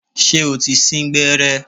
Ṣé o ti sín gbẹ́rẹ́?